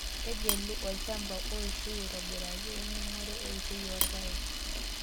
Tegelu olchampa oishio aitobiraki oning'ore eishioi oorpaek.